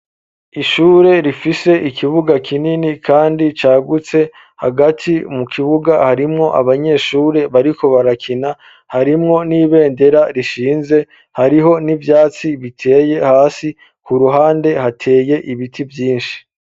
Ishure rifise ikibuga kinini kandi cagutse hagati mu kibuga harimwo abanyeshure bariko barakina harimwo n'ibendera rishinze hariho n'ivyatsi biteye hasi ku ruhande hateye ibiti vyishi